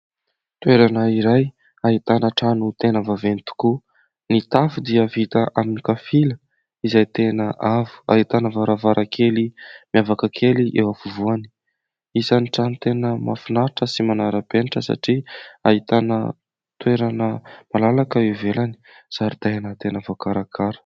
Toerana iray ahitana trano tena vaventy tokoa. Ny tafo dia vita amin'ny kapila izay tena avo ahitana varavarakely miavaka kely eo afovoany. Isany trano tena mahafinaritra sy manara-penitra satria ahitana toerana malalaka eo ivelany zaridaina tena vaokarakara.